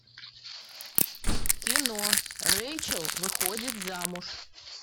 кино рэйчел выходит замуж